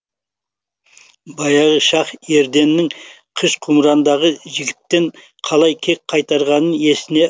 баяғы шах ерденнің қыш құмырадағы жігіттен қалай кек қайтарғанын есіне